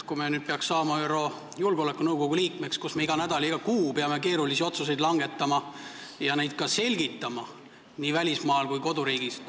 Kui me peaksime saama ÜRO Julgeolekunõukogu liikmeks, siis me peame iga nädal ja iga kuu langetama keerulisi otsuseid ning neid nii välismaal kui ka koduriigis selgitama.